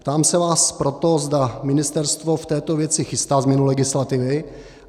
Ptám se vás proto, zda ministerstvo v této věci chystá změnu legislativy.